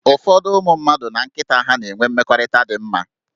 Ụfọdụ ụmụ mmadụ na nkịta ha na-enwe mmekọrịta dị mma